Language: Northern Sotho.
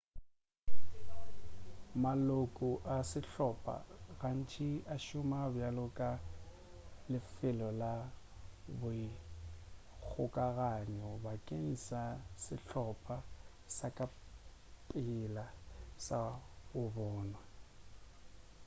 maloko a sehlopa gantši a šoma bjalo ka lefelo la boikgokaganyo bakeng sa sehlopa sa ka pela sa go bonwa